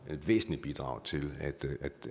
væsentligt bidrag til